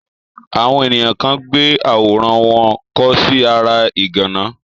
àwọn èniyàn kan gbé àwòrán wọn kọ sí ara ìgànná.